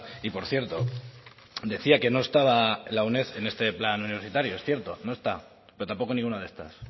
y por cierto decía que no estaba la uned en este plan universitario es cierto no está pero tampoco ninguna de estas